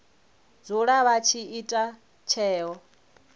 dzula vha tshi ita tsheo